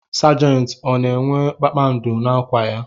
Sajenti ọ na-enwe kpakpando n'akwa ya?